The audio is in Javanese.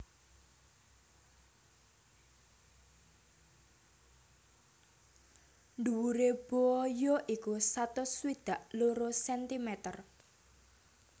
Dhuwure Boa ya iku satus swidak loro sentimer